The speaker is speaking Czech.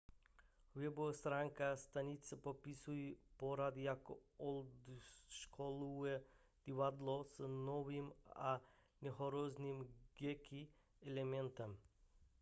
webová stránka stanice popisuje pořad jako oldschoolové divadlo s novým a nehorázným geeky elementem